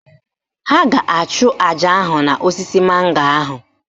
Ha a ga-achụ àjà ahụ n'osisi mango ahụ?